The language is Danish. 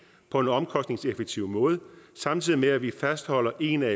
på en omkostningseffektiv måde samtidig med at vi fastholder en af